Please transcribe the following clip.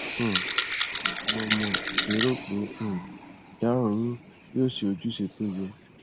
um mo mo lérò pé um ìdáhùn yìí yóò ṣe ojúṣe tó yẹ